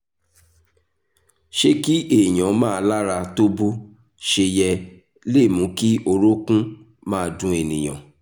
ṣé kí èèyàn má lára tó bó ṣe yẹ le mú kí orókún máa dun ènìyàn?